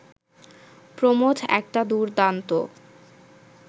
প্রমথ একটা দুর্দান্ত